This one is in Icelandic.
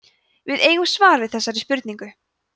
við eigum svar við þessari spurningu